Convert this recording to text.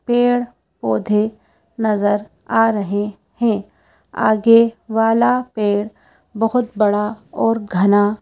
पेड़ पौधे नजर आ रहें हैं आगे वाला पेड़ बहोत बड़ा और घना--